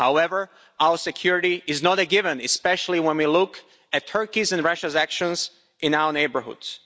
However, our security is not a given, especially when we look at Turkey's and Russia's actions in our neighbourhoods.